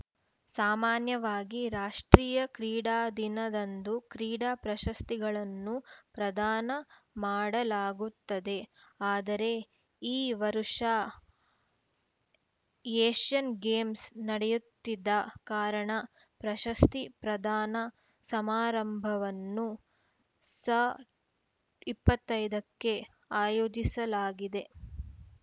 ಸಾಮಾನ್ಯವಾಗಿ ರಾಷ್ಟ್ರೀಯ ಕ್ರೀಡಾ ದಿನದಂದು ಕ್ರೀಡಾ ಪ್ರಶಸ್ತಿಗಳನ್ನು ಪ್ರದಾನ ಮಾಡಲಾಗುತ್ತದೆ ಆದರೆ ಈ ವರ್ಷ ಏಷ್ಯನ್‌ ಗೇಮ್ಸ್‌ ನಡೆಯುತ್ತಿದ್ದ ಕಾರಣ ಪ್ರಶಸ್ತಿ ಪ್ರದಾನ ಸಮಾರಂಭವನ್ನು ಸ ಇಪ್ಪತ್ತ್ ಐದಕ್ಕೆ ಆಯೋಜಿಸಲಾಗಿದೆ